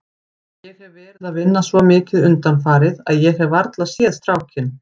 Ég hef verið að vinna svo mikið undanfarið að ég hef varla séð strákinn.